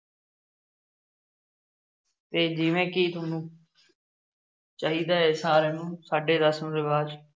ਤੇ ਜਿਵੇਂ ਕਿ ਤੁਹਾਨੂੰ ਚਾਹੀਦਾ ਹੈ ਸਾਰਿਆਂ ਨੂੰ ਸਾਡੇ ਰਸ਼ਮ ਰਿਵਾਜ